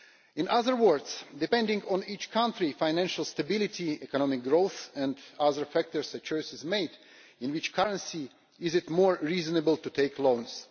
In other words, depending on each country, financial stability, economic growth and other factors, a choice is made in which currency it is more reasonable to take loans.